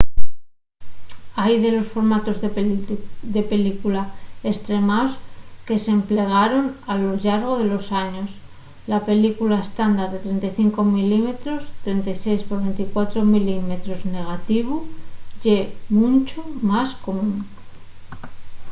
hai dellos formatos de película estremaos que s’emplegaron a lo llargo de los años. la película estándar de 35 mm 36 x 24 mm negativu ye muncho más común